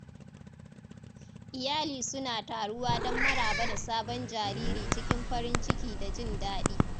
Iyali suna taruwa don maraba da sabon jariri cikin farin ciki da jin daɗi.